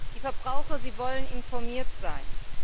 Die Verbraucher wollen informiert sein.